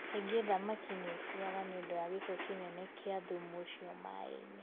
Kaingĩ thamaki nĩ ikuaga nĩ ũndũ wa gĩko kĩnene kĩa thumu ũcio maĩ-inĩ.